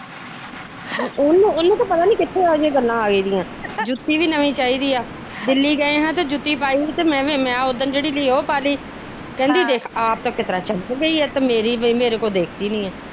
ਉਹਨੂੰ ਉਹਨੂੰ ਤੇ ਪਤਾ ਨੀ ਕਿਥੋ ਆਗੀ ਗੱਲਾ ਆਗੀਆਂ ਜੁੱਤੀ ਵੀ ਨਵੀ ਚਾਹੀਦੀਆ ਦਿੱਲੀ ਗਏ ਤੇ ਜੁਤੀ ਪਾਈ ਤੇ ਮੈ ਉਦਨ ਜਿਹੜੀ ਲਈ ਉਹ ਪਾਲੀ ਕਹਿੰਦੀ ਦੇਖ ਆਪ ਤਾ ਕਿਸ ਤਰਾ ਚਮਕ ਗੀਆ ਮੇਰੀ ਬੇ ਮੇਰੇ ਕੋ ਦੇਖਤੀ ਨੀ ਹੈ।